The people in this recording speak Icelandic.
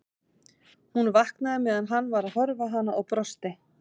Hún vaknaði meðan hann var að horfa á hana og brosti.